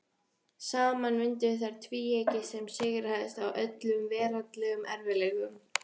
Saman mynduðu þær tvíeyki sem sigraðist á öllum veraldlegum erfiðleikum.